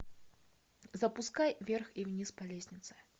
запускай вверх и вниз по лестнице